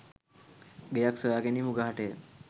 ගෙයක් සොයාගැනීම උගහටය